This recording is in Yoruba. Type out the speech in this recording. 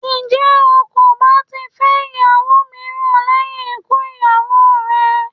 Ǹjẹ́ o kò bá ti fẹ́ ìyàwó míràn lẹ́yìn ikú ìyàwó rẹ?